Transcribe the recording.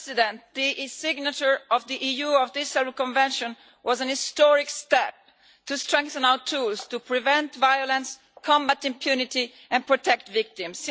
Mr President, the signature of the EU on the Istanbul Convention was a historic step to strengthen our tools to prevent violence, combat impunity and protect victims.